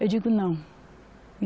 Eu digo, não.